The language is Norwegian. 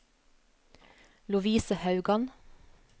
Lovise Haugan